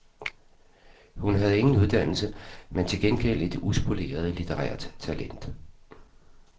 Hun havde ingen uddannelse, men til gengæld et uspoleret litterært talent.